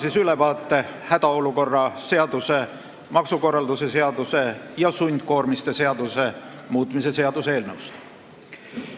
Annan ülevaate hädaolukorra seaduse, maksukorralduse seaduse ja riigikaitseliste sundkoormiste seaduse muutmise seaduse eelnõust.